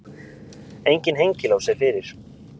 Enginn hengilás er fyrir.